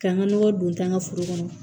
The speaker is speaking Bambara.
K'an ka nɔgɔ don taa n ka foro kɔnɔ